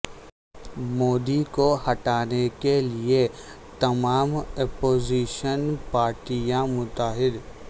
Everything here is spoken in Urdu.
مودی کو ہٹانے کے لئے تمام اپوزیشن پارٹیاں متحد